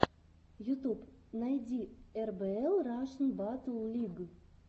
ютуб найди эрбээл рашн баттл лиг